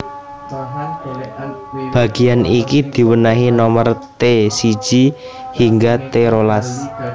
Bagéan iki diwènèhi nomer T siji hingga T rolas